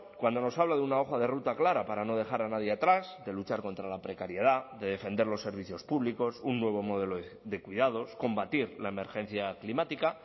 cuando nos habla de una hoja de ruta clara para no dejar a nadie atrás de luchar contra la precariedad de defender los servicios públicos un nuevo modelo de cuidados combatir la emergencia climática